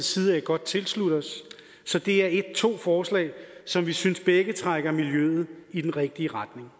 side godt tilslutte os så det er to forslag som vi synes begge trækker miljøet i den rigtige retning